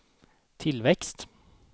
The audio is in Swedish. tillväxt